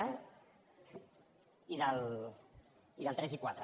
a i dels tres i quatre